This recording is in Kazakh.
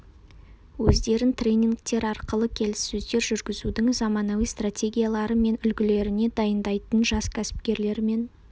өздерін тренингтер арқылы келіссөздер жүргізудің заманауи стратегиялары мен үлгілеріне дайындайтын жас кәсіпкерлермен